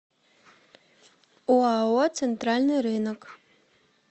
оао центральный рынок